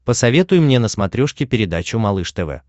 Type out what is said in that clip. посоветуй мне на смотрешке передачу малыш тв